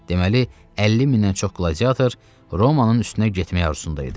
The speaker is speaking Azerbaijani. Deməli, 50 mindən çox qladiator Romanın üstünə getməyə arzusunda idi.